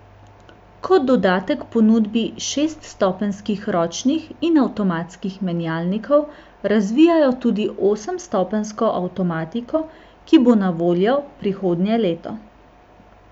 Kot dodatek ponudbi šeststopenjskih ročnih in avtomatskih menjalnikov razvijajo tudi osemstopenjsko avtomatiko, ki bo na voljo prihodnje leto.